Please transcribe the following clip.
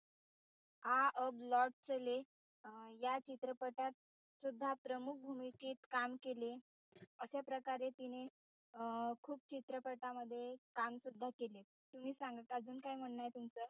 आ अब लौट चले अं या चित्रपटात सुद्धा प्रमुख भूमिकेत काम केले अशा प्रकारे तिने अं खूप चित्रपटामध्ये काम सुद्धा केले. तुम्ही सांगा अजून काय म्हणणं आहे तुमचं?